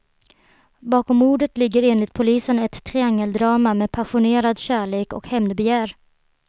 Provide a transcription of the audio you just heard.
Bakom mordet ligger enligt polisen ett triangeldrama med passionerad kärlek och hämndbegär.